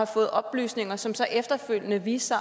fået oplysninger som så efterfølgende viste